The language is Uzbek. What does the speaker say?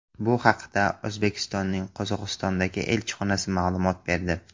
Bu haqda O‘zbekistonning Qozog‘istondagi elchixonasi ma’lumot berdi .